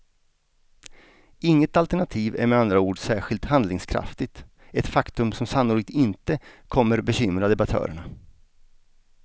Inget alternativ är med andra ord särskilt handlingskraftigt, ett faktum som sannolikt inte kommer bekymra debattörerna.